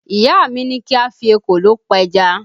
Ìyá mi ní kí a fi ekòló pẹja